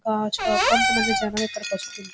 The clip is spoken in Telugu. ఆ కొంత మంది జనం ఇక్కడ వచ్చి తింటున్నారు.